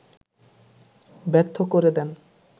ব্যর্থ করে দেন